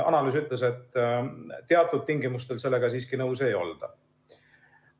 Analüüs ütles, et teatud tingimustel sellega siiski nõus ei olda.